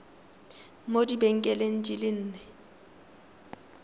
mo dibekeng di le nne